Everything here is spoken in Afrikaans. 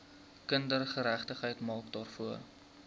kindergeregtigheid maak daarvoor